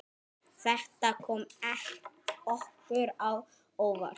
Þetta kom okkur á óvart.